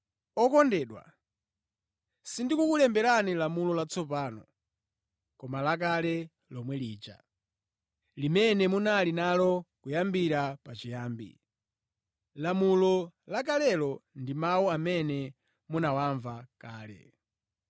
Okondedwa, sindikukulemberani lamulo latsopano koma lakale lomwe lija, limene munali nalo kuyambira pachiyambi. Lamulo la kalelo ndi mawu amene munawamva kale.